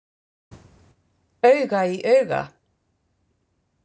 Auga í auga.